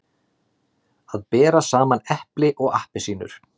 Að bera saman epli og appelsínur